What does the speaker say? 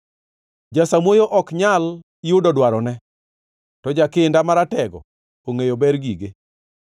Jasamuoyo ok nyal yudo dwarone, to jakinda maratego ongʼeyo ber gige.